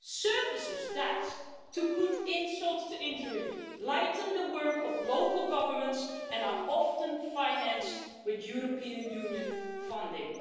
These are services that to add insult to injury lighten the work of local governments and are often financed through European Union funding.